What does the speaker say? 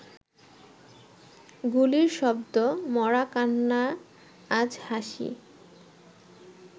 গুলির শব্দ মরাকান্না আজ হাসি